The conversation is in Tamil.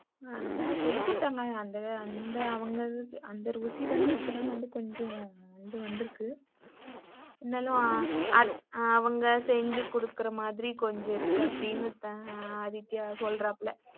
ஆனால சொல்லி குடுத்தாங்க அந்த அவங்க அது அந்த ருசி வந்து இப்போதான் கொஞ்சம் வந்தருக்கு. இருந்தாலும் அத்த அவங்க செஞ்சு குடுக்குறமாதிரி கொஞ்சம் இருக்கு அப்படினு ஆதித்யா சொல்றாப்புல.